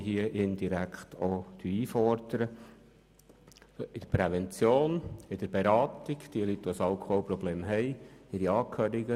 Wir arbeiten im Bereich Prävention und bieten Beratungen an für Personen, die ein Alkoholproblem haben, sowie für ihre Angehörigen.